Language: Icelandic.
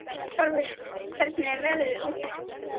Tarfur, hvernig er veðrið úti?